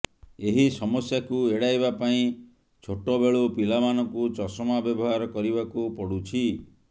ଏହି ସମସ୍ୟାକୁ ଏଡ଼ାଇବା ପାଇଁ ଛୋଟବେଳୁ ପିଲାମାନଙ୍କୁ ଚଷମା ବ୍ୟବହାର କରିବାକୁ ପଡ଼ୁଛି